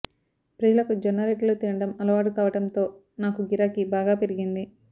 ప్రజలకు జొన్నరొట్టెలు తినడం అలవాటు కావడంతో నాకు గిరాకీ బాగా పెరిగింది